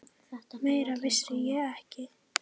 Meira vissi ég ekki.